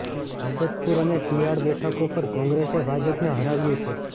હેબતપુર અને શિયાળ બેઠકો પર કોંગ્રેસે ભાજપને હરાવ્યું છે